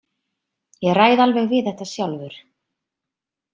Ég ræð alveg við þetta sjálfur.